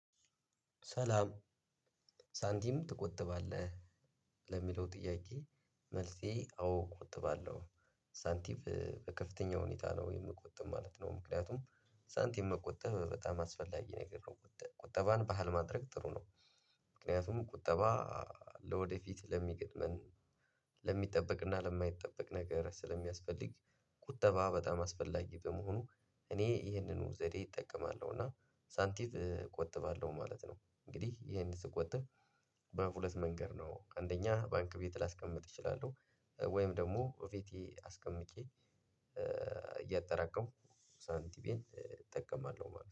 ሰላም ሳንቲም ትቆጥባለህ? ለሚለው ጥያቄ መልሴ አዎ እቆጥባለሁ። ሳንቲም በከፍተኛ ሁኔታ ነው የምቆጥበው ማለት ነው ምክንያቱም ሳንቲም መቆጠብ በጣም አስፈላጊ ነገር ነው ቁጠባን ባህል ማድረግ ጥሩ ነው ምክንያቱም ቁጠባ ለወደፊት ለሚገጥመን ለሚጠበቅና ለማይጠበቅ ነገር ስለሚያስፈልግ ቁጠባ በጣም አስፈላጊ በመሆኑ እኔ ይሄንን ዘዴ እጠቀማለሁ እና ሳንቲም እቆጥባለሁ ማለት ነው። እንግዲህ ይሄን ስቆጥብ በሁለት መንገድ ነው አንደኛ ባንክ ቤት ላስቀምጥ እችላለሁ። ወይም ደግሞ እቤቴ አስቀምጬ እያጠራቀምኩ ሳንቲሜን እጠቀማለሁ ማለት ነው።